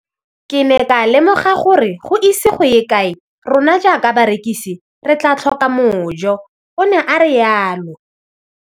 Ke ne ka lemoga gore go ise go ye kae rona jaaka barekise re tla tlhoka mojo, o ne a re jalo.